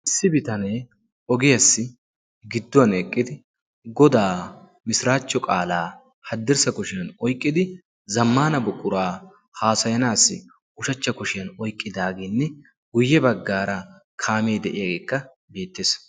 Issi bitanee ogiyaassi gidduwan eqqidi godaa mishiraachcho qaalaa haddirssa koshiyan oyqqidi zammana buquraa haasayanaassi ushachcha koshiyan oiqqidaaginne guyye baggaara kaamee de'iyaageekka beettees.